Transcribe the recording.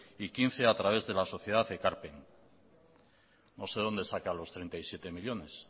y quince a través de la sociedad ekarpen no sé de dónde saca los treinta y siete millónes